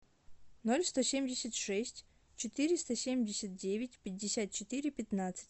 ноль сто семьдесят шесть четыреста семьдесят девять пятьдесят четыре пятнадцать